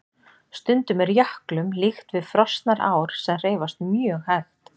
Stundum er jöklum líkt við frosnar ár sem hreyfast mjög hægt.